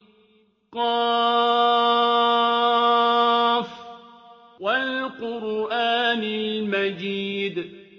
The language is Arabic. ق ۚ وَالْقُرْآنِ الْمَجِيدِ